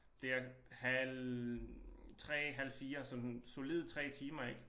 Der halv 3 halv 4 sådan solide 3 timer ik